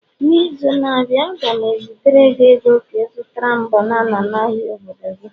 n'izu na-abịa, a ga m ezitere gị ego Ka ị zụtara m banana n'ahịa obodo gị